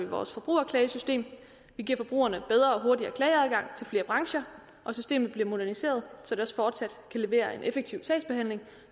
vores forbrugerklagesystem vi giver forbrugerne bedre og hurtigere klageadgang til flere brancher og systemet bliver moderniseret så det også fortsat kan levere en effektiv sagsbehandling